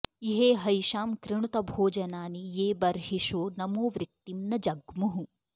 इ॒हेहै॑षां कृणुत॒ भोज॑नानि॒ ये ब॒र्॒हिषो॒ नमो॑वृक्तिं॒ न ज॒ग्मुः